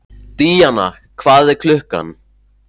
Díanna, hvað er klukkan?